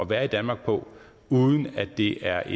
være i danmark på uden at det er